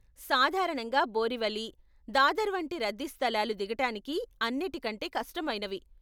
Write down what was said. సాధారణంగా బోరివలి, దాదర్ వంటి రద్దీ స్థలాలు దిగటానికి అన్నిటి కంటే కష్టమైనవి.